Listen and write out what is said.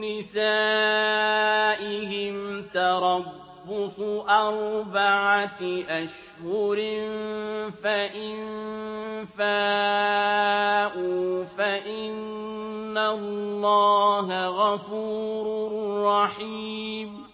نِّسَائِهِمْ تَرَبُّصُ أَرْبَعَةِ أَشْهُرٍ ۖ فَإِن فَاءُوا فَإِنَّ اللَّهَ غَفُورٌ رَّحِيمٌ